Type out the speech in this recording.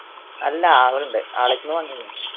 അല്ല ആളുണ്ട് ആളുടെ അടുത്ത് നിന്ന് വാങ്ങിയതാണ്.